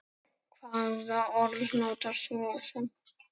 Hvaða orð notar þú þá?